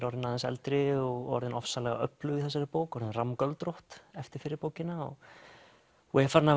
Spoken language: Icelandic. orðin aðeins eldri og orðin ofsalega öflug í þessari bók orðin eftir fyrri bókina er farin að